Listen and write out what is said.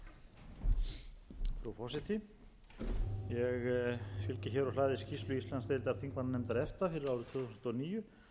skýrslu íslandsdeildar þingmannanefndar efta fyrir árið tvö þúsund og níu sem er að finna á þingskjali